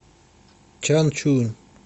чанчунь